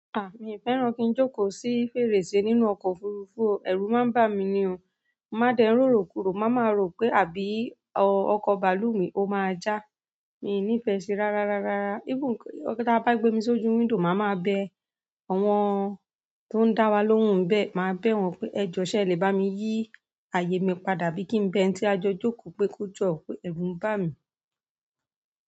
Ah! Mi o fẹ́ràn kí n jókò sí fèrèsé nínú ọkọ̀ òfurufú o, ẹ̀rù máa ń bà mí ní o. Máa dẹ́ rórò kúrò, máa ma ro pé àbí ọkọ̀ bàálù mi ó máa já. Mi ní ìfẹ́ sí i rárárá. Even gan ti a bá gbé mi sí ojú window máa ma bẹ, àwọn tó ń dá wa lóhùn bẹ, màá bẹ wọ́n pé ẹ jọ̀ ṣe ẹ le bá mi yí ààyè mi padà bí kí n bẹ ẹni tí a jọ jókòó pé kó jọ, pé ẹ̀rù ń bà mí.